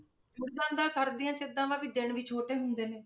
ਜੁੜ ਜਾਂਦਾ, ਸਰਦੀਆਂ 'ਚ ਏਦਾਂ ਦਾ ਵੀ ਦਿਨ ਵੀ ਛੋਟੇ ਹੁੰਦੇ ਨੇ।